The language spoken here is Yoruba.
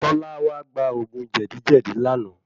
Tọ́lá wá gba ògún jèdí lánàá.